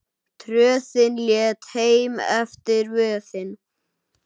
Tröðin létt heim eftir vöðin.